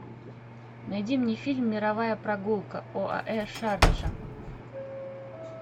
найди мне фильм мировая прогулка оаэ шарджа